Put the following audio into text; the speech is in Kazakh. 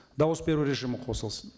дауыс беру режимі қосылсын